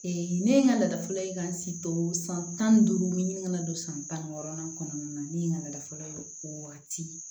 ne ye n ka laada fɔlɔ ye ka n si to san tan ni duuru ɲin ka na don san tan ni wɔɔrɔnan kɔnɔna na ne ye n ka laada fɔlɔ ye o waati